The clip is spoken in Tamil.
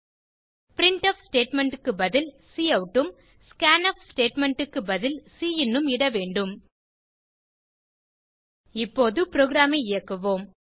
பிரின்ட்ஃப் ஸ்டேட்மெண்ட் க்கு பதில் கவுட் உம் ஸ்கான்ஃப் ஸ்டேட்மெண்ட் க்கு பதில் சின் ம் இட வேண்டும் இப்போது புரோகிராம் ஐ இயக்குவோம்